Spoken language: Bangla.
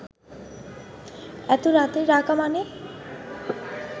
এত রাতে ডাকা মানে